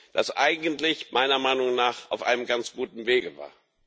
das eigentlich meiner Meinung nach auf einem ganz guten Weg war.